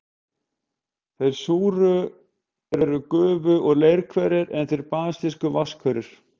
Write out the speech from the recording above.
Þeir súru eru gufu- og leirhverir, en þeir basísku vatnshverir.